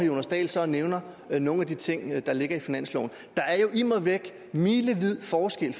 jonas dahl så og nævner nogle af de ting der ligger i finansloven der er jo immer væk milevid forskel